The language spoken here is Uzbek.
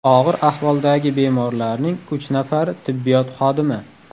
Og‘ir ahvoldagi bemorlarning uch nafari tibbiyot xodimi.